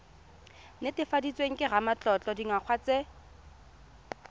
netefaditsweng ke ramatlotlo dingwaga tse